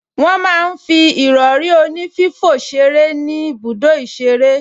Wọ́n máa ń fi ìrọrí onífífò ṣeré ní ibùdó ìṣeré